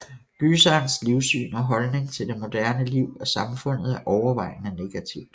Gyserens livssyn og holdning til det moderne liv og samfundet er overvejende negativt